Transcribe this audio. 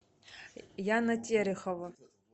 яна терехова